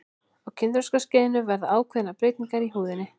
á kynþroskaskeiðinu verða ákveðnar breytingar í húðinni